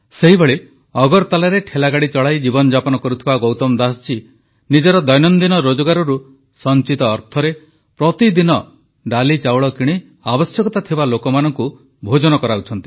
ସେହିଭଳି ଅଗରତାଲାରେ ଠେଲାଗାଡ଼ି ଚଳାଇ ଜୀବନଯାପନ କରୁଥିବା ଗୌତମ ଦାସଜୀ ନିଜର ଦୈନନ୍ଦିନ ରୋଜଗାରରୁ ସଂଚିତ ଅର୍ଥରେ ପ୍ରତିଦିନ ଡାଲିଚାଉଳ କିଣି ଆବଶ୍ୟକତା ଥିବା ଲୋକମାନଙ୍କୁ ଭୋଜନ କରାଉଛନ୍ତି